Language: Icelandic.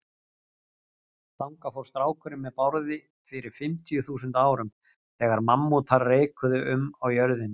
Þangað fór strákurinn með Bárði fyrir fimmtíu þúsund árum, þegar mammútar reikuðu um á jörðinni.